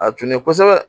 A tun ye kosɛbɛ